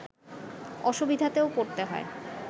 অসুবিধাতেও পড়তে হয়